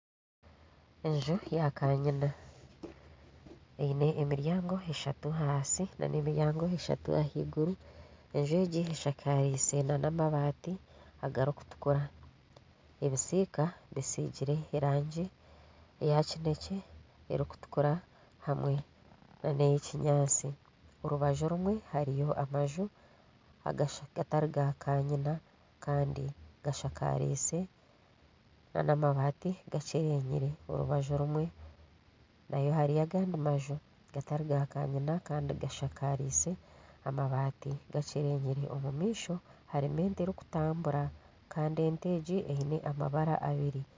Enju ya kanyina eine emiryango eshatu ahansi nana emiryango eshatu ahaiguru, enju egi eshakaize n'amabaati agarikutukura, ebisiika bisigire erangi eya kineekye, erikutukura hamwe nana ey'ekinyaatsi orubaju orumwe hariyo amaju agatari ga kanyina kandi gashakariise n'amabaati gaakyerenyire orubaju rumwe nayo hariyo agandi gatari ga kanyina gashakariise amabaati gakyerenyire omu maisho harimu ente erikutambura kandi ente egi eine amabara abiri